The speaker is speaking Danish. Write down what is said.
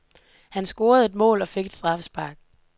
Han scorede et mål og fik et straffespark.